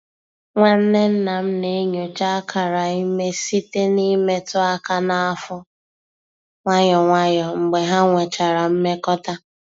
Nwanne nna m na-enyocha akara ime site n’imetụ aka n’afọ nwayọ nwayọ mgbe ha nwechara mmekọta.